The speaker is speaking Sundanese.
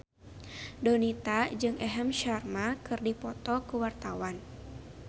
Donita jeung Aham Sharma keur dipoto ku wartawan